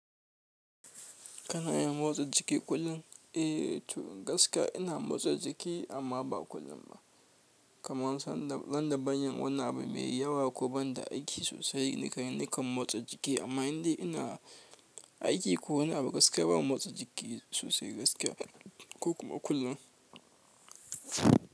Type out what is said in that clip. Kana yin motsa jiki kullum? Eh, to gaskiya ina motsa jiki amma ba kullum ba. Kamar sanda ban yin wani abu mai yawa ko banda aiki sosai nikan motsa jiki. Amma idan ina aiki ko wani abu gaskiya bana motsa jiki sosai gaskiya ko kuma kullum.